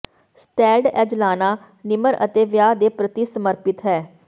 settled ਐਂਜਲਾਨਾ ਨਿਮਰ ਅਤੇ ਵਿਆਹ ਦੇ ਪ੍ਰਤੀ ਸਮਰਪਿਤ ਹੈ